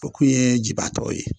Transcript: O kun ye jiba tɔ ye.